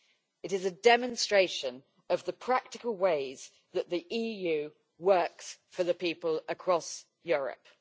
It is a demonstration of the practical ways that the EU works for the people across Europe.